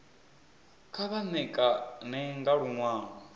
kha vha ṋekane nga luṅwalo